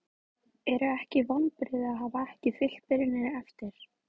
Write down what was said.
Eru ekki vonbrigði að hafa ekki fylgt byrjuninni eftir?